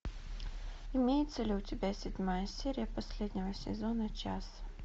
имеется ли у тебя седьмая серия последнего сезона час